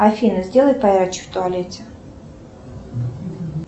афина сделай поярче в туалете